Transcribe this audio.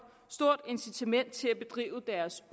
stort incitament til at bedrive deres